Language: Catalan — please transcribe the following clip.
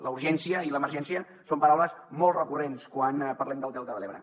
la urgència i l’emergència són paraules molt recurrents quan parlem del delta de l’ebre